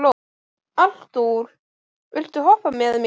Arthúr, viltu hoppa með mér?